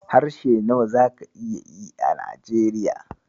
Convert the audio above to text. Harshe nawa zaka iya yi a Najeriya?